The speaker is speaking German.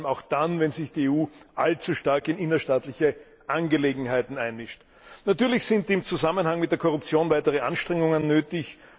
dies vor allem auch dann, wenn sich die EU allzu stark in innerstaatliche Angelegenheiten einmischt. Natürlich sind im Zusammenhang mit der Korruption weitere Anstrengungen nötig.